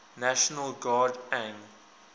national guard ang